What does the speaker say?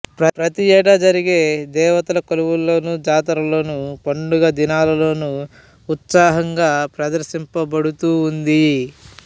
ప్రతి ఏటా జరిగే దేవతల కొలువుల్లోనూ జాతర్లలోనూ పండుగ దినాల్లోనూ ఉత్సాహంగా ప్రదర్శింపబడుతూ ఉంది